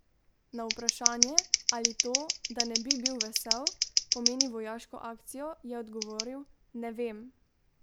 Na vprašanje, ali to, da ne bi bil vesel, pomeni vojaško akcijo, je odgovoril: "Ne vem.